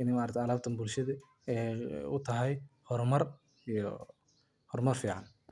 in maragtay alabtan bulshada e utahay hormar dab iyo hormar fican.